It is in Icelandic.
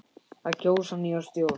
Að kjósa nýja stjórn.